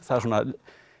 það svona